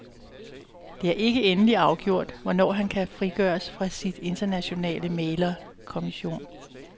Det er ikke endeligt afgjort, hvornår han kan frigøres fra sin internationale mæglermission.